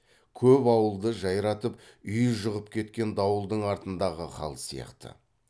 көп ауылды жайратып үй жығып кеткен дауылдың артындағы хал сияқты